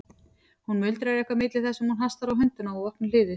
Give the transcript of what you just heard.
Hún muldrar eitthvað milli þess sem hún hastar á hundana og opnar hliðið.